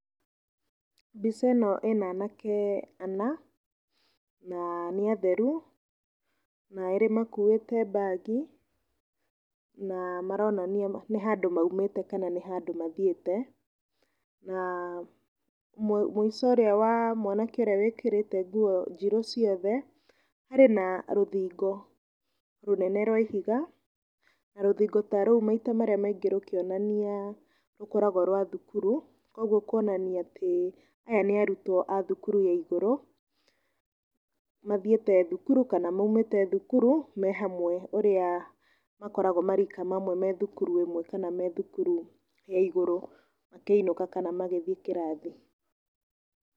Mbica ĩno ĩna aanake ana na nĩ atheru na erĩ makuĩte mbagi na maronania nĩ handũ maumĩte kana nĩ handũ mathiĩte na mũico ũrĩa wa mwanake ũrĩa wĩkĩrĩte nguo njirũ ciothe, harĩ na rũthingo rũnene rwa ihiga na rũthingo ta rũu maita marĩa maingĩ rũkĩonania rũkoragwo rwa thukuru, kwoguo kuonania atĩ aya nĩ arutwo a thukuru ya igũrũ mathiĩte thukuru kana maumĩte thukuru me hamwe ũrĩa makoragwo marika mamwe me thukuru ĩmwe kana me thukuru ya igũrũ makĩinũka kana magĩthiĩ kĩrathi.